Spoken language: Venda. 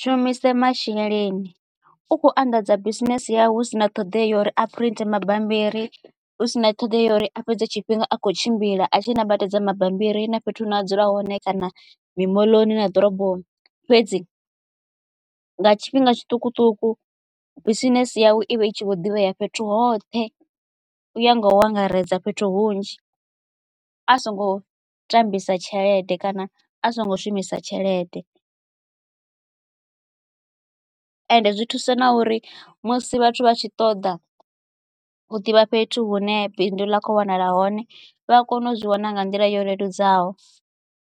shumise masheleni u khou anḓadza bisinese yawe hu si na ṱhoḓea ya uri a print mabambiri hu sina ṱhoḓea ya uri a fhedze tshifhinga a kho tshimbila a tshi ṋambatedza mabambiri na fhethu hu ne a dzula hone kana mimoḽoni na ḓoroboni fhedzi nga tshifhinga tshiṱukuṱuku bisinese yavho i vha i tshi vho ḓivha ya fhethu hoṱhe u ya nga u angaredza fhethu hunzhi a songo tambisa tshelede kana a songo shumisa tshelede ende zwi thusa na uri musi vhathu vha tshi ṱoḓa u ḓivha fhethu hune bindu ḽa kho wanala hone vha a kona u zwi wana nga nḓila yo leludzaho.